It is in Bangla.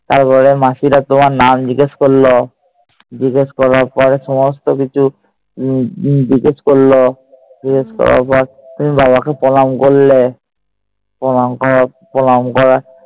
তারপর মাসিরা তোমার নাম জিজ্ঞেস করল। জিজ্ঞেস করার পরে সমস্ত কিছু জিগেস করল। জিজ্ঞেস করার পর তুমি বাবাকে প্রণাম করলে। প্রণাম করা প্রণাম করা